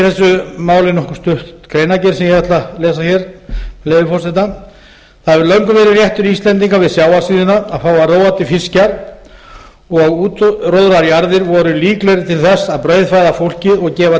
þessu máli nokkuð stutt greinargerð sem ég ætla að lesa með leyfi forseta það hefur löngum verið réttur íslendinga við sjávarsíðuna að fá að róa til fiskjar og útróðrajarðir voru líklegri til þess að brauðfæða fólkið og gefa